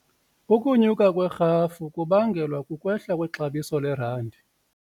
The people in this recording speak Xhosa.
Ukunyuka kwerhafu kubangelwa kukwehla kwexabiso lerandi.